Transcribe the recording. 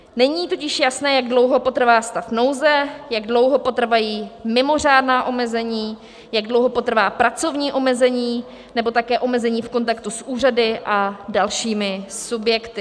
Není totiž jasné, jak dlouho potrvá stav nouze, jak dlouho potrvají mimořádná omezení, jak dlouho potrvá pracovní omezení nebo také omezení v kontaktu s úřady a dalšími subjekty.